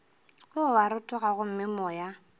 o a rotoga gomme moya